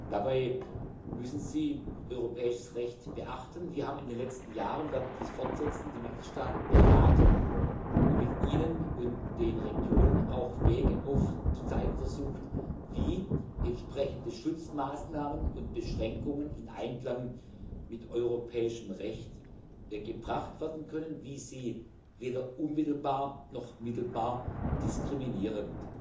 Dabei müssen sie europäisches Recht beachten. Wir haben in den letzten Jahren und werden dies fortsetzten die Mitgliedstaaten beraten und mit ihnen und den Regionen auch Wege aufzuzeigen versucht, wie entsprechende Schutzmaßnahmen und Beschränkungen in Einklang mit europäischem Recht gebracht werden können und sichergestellt wird, dass sie weder unmittelbar noch mittelbar diskriminierend